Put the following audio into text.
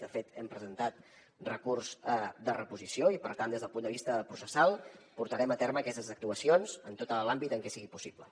de fet hem presentat recurs de reposició i per tant des del punt de vista processal portarem a terme aquestes actuacions en tot l’àmbit en què sigui possible